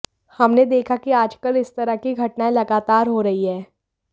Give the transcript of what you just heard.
हमने देखा कि आजकल इस तरह की घटनाएं लगातार हो रही हैं